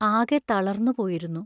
ആകെ തളർന്നു പോയിരുന്നു.